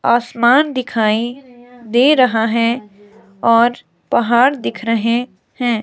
आसमान दिखाई दे रहा है और पहाड़ दिख रहे हैं।